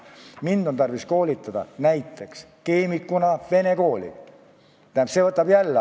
Kui mind keemikuna on tarvis koolitada näiteks vene kooli õpetajaks, siis see võtab aega.